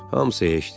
Hamısı heçdir.